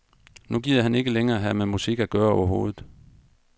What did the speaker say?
Nu gider han ikke længere have med musik at gøre overhovedet.